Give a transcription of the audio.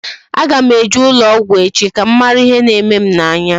A ga m eje ụlọ ọgwụ echi ka m mara ihe na-eme m n'anya